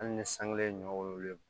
Hali ni san kelen ye ɲɔ wololen don